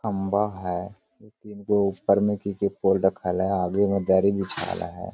खंबा है दु तीन गो ऊपर मे की पोल रखल है आगे मे दरी बिछाल है।